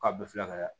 K'a bɛɛ filɛ ka